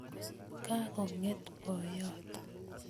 Kakonget boyot